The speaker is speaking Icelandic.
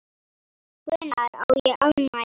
Hvenær á ég afmæli?